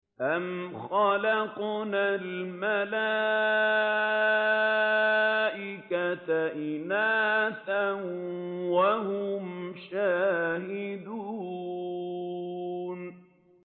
أَمْ خَلَقْنَا الْمَلَائِكَةَ إِنَاثًا وَهُمْ شَاهِدُونَ